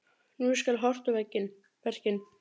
Nú skal horft á verkin.